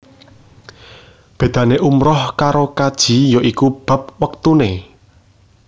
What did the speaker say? Bédané umrah karo kaji ya iku bab wektuné